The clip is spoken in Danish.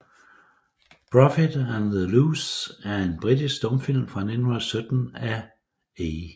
Profit and the Loss er en britisk stumfilm fra 1917 af A